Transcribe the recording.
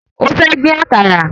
Ó fẹ́ dín àkàrà